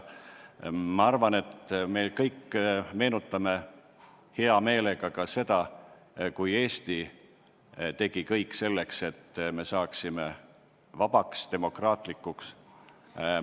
Ma arvan, et me kõik meenutame hea meelega seda aega, kui Eesti tegi kõik selleks, et saaksime vabaks, demokraatlikuks.